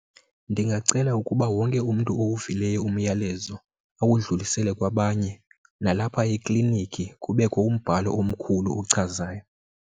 Ndingacela ukuba wonke umntu owuvileyo umyalezo awudlulise kwabanye, nalapha ekliniki kubekho umbhalo omkhulu ochazayo.